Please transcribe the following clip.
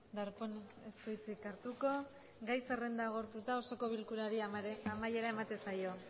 darpón ez du hitzik hartuko gai zerrenda agortuta osoko bilkurari amaiera ematen zaio